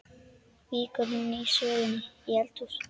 Víkur nú sögunni í eldhús.